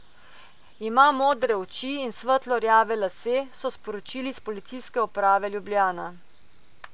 Ima modre oči in svetlo rjave lase, so sporočili s Policijske uprave Ljubljana.